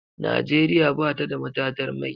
Nigeria batada matatar mai.